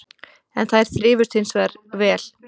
En þær þrifust hins vegar vel